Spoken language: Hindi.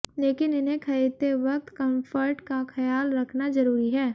लेकिन इन्हें खरीदते वक्त कंफर्ट का ख्याल रखना जरूरी है